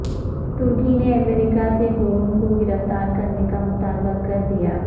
ترکی نے امریکہ سے گولن کو گرفتار کرنے کا مطالبہ کر دیا